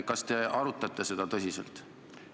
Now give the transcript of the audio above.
Kas te arutate seda küsimust tõsiselt?